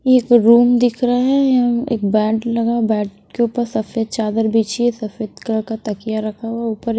ये एक रूम दिख रहा है यहाँ एक बेड लगा बेड के ऊपर सफ़ेद चादर बिछी है सफ़ेद कलर का तकिया रखा हुआ है ऊपर --